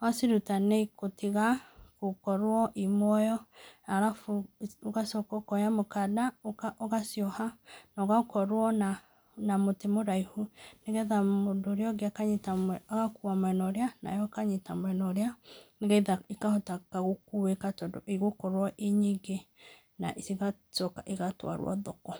waciruta nĩigũkorwo itarĩ muoyo. Ũgacoka ũkoya mũkanda ũgacioha, na ũgakorwo na mũtĩ mũraihu, nĩgetha mũndũ ũrĩa ũngĩ akanyita mwena ũrĩa nawe mwena ũrĩa, nĩgetha ikahota gũkũĩka tondũ ĩgũkorwo ĩrĩ nyingi na cigacoka cigatwarwo thoko.